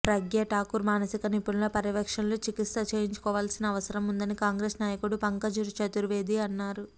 ప్రగ్యాఠాకూర్ మానసిక నిపుణుల పర్యవేక్షణలో చికిత్స చేయించుకోవలసిన అవసరం ఉందని కాంగ్రెస్ నాయకుడు పంకజ్ చతుర్వేది అన్నారు